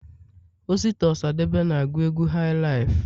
osita osadebe na agu egwu hailaifu